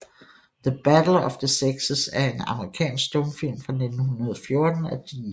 The Battle of the Sexes er en amerikansk stumfilm fra 1914 af D